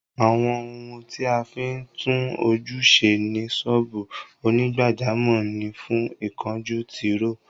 Àwọn ohun tí a fí ń tún ojú ṣe ní ṣọ́ọ́bù onígbàjámọ̀ ni fún, ìkunjú, Tìróò